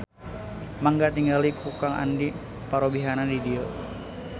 Mangga tingali ku Kang Andi parobihanna di dieu